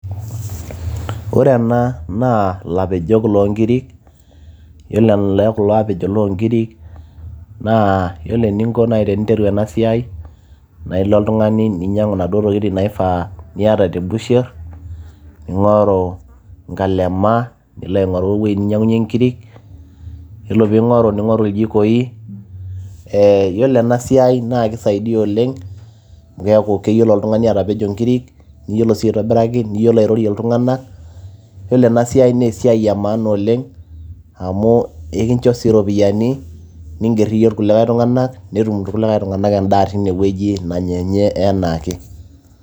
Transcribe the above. ore ena naa ilapejok loonkiri yiolo ele kulo apejok loonkiri naa yiolo eninko naaji eninteru ena siai naa ilo oltung'ani ninyiang'u inaduo tokitin naifaa niata busherr ning'oru nkalema nilo aing'oru ewueji ninyiang'unyie inkiri yiolo piing'oru ning'oru iljikoi ee yiolo ena siai naa kisaidia oleng amu keeku keyiolo oltung'ani atapejo inkiri niyiolo sii aitobiraki niyiolo airorie iltung'anak yiolo ena siai naa esiai e maana oleng amu ekinjo sii iropiyiani ningerr iyie irkulikay tung'anak netum irkulikay tung'anak endaa tinewueji nanya enye anaake.